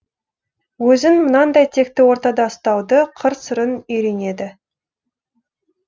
өзін мынандай текті ортада ұстауды қыр сырын үйренеді